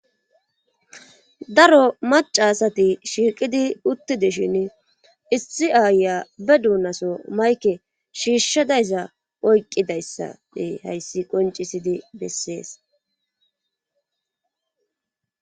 daro macasati shiiqidi uttideshin issi aaya be duunaso mayke shiishshadayza oyqqidayssade hayssi qoncisidi bessees.